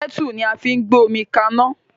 Kẹ́tù ni a fi ń gbé omi kaná